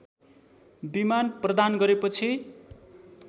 विमान प्रदान गरेपछि